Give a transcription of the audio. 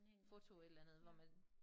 Foto et eller andet hvor man